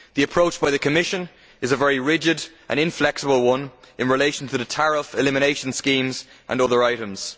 The approach by the Commission is a very rigid and inflexible one in relation to the tariff elimination schemes and other items.